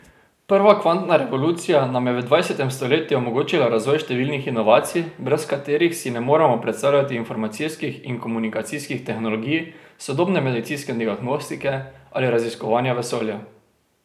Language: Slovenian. Prva kvantna revolucija nam je v dvajsetem stoletju omogočila razvoj številnih inovacij, brez katerih si ne moremo predstavljati informacijskih in komunikacijskih tehnologij, sodobne medicinske diagnostike ali raziskovanja vesolja.